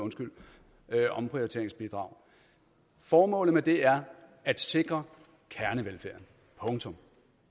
omprioriteringsbidrag formålet med det er at sikre kernevelfærden punktum